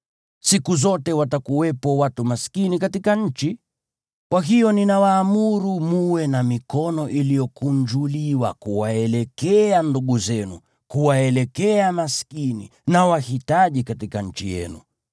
Siku zote watakuwepo watu maskini katika nchi. Kwa hiyo ninawaamuru mwe na mikono iliyokunjuliwa kuwaelekea ndugu zenu, kuwaelekea maskini na wahitaji katika nchi yenu.